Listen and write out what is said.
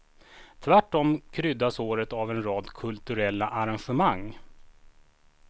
Tvärtom kryddas året av en rad kulturella arrangemang.